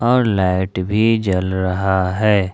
और लाइट भी जल रहा है।